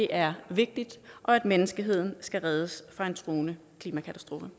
er vigtigt og at menneskeheden skal reddes fra en truende klimakatastrofe